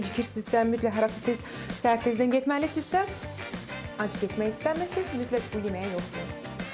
Yəni işə gecikirsinizsə, mütləq harasa tez səhər tezdən getməlisinizsə, ac getmək istəmirsizsə, mütləq bu yeməyi yoxlayın.